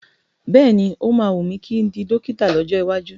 Bẹ́ẹ̀ni,o máa wùn mí kí n di dọ́kítà lọ́jọ́ iwájú.